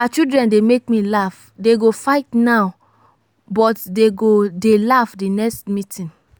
our children dey make me laugh dey go fight now but dey go dey laugh the next meeting